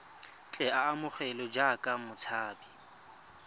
tle a amogelwe jaaka motshabi